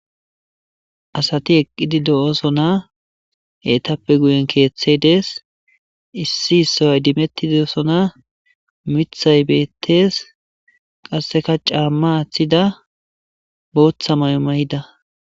Asati eqqidi de'oosona etappe guyen keethay dees. Issi issoy idimetidosona. Miththay beetes. Qassekka caama aathida. Booththa mayo mayida.